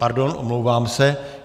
Pardon, omlouvám se.